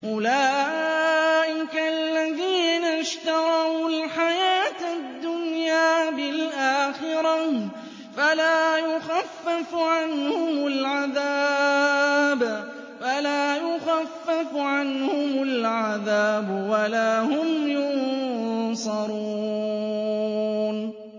أُولَٰئِكَ الَّذِينَ اشْتَرَوُا الْحَيَاةَ الدُّنْيَا بِالْآخِرَةِ ۖ فَلَا يُخَفَّفُ عَنْهُمُ الْعَذَابُ وَلَا هُمْ يُنصَرُونَ